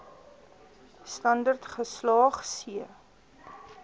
standerd geslaag c